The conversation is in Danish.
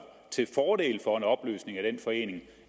til fordel for en opløsning af den forening